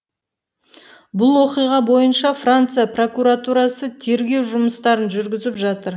бұл оқиға бойынша франция прокуратурасы тергеу жұмыстарын жүргізіп жатыр